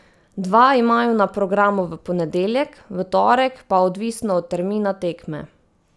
Dva imajo na programu v ponedeljek, v torek pa odvisno od termina tekme.